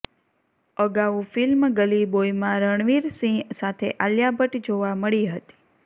અગાઉ ફિલ્મ ગલી બોયમાં રણવીર સિંહ સાથે આલિયા ભટ્ટ જોવા મળી હતી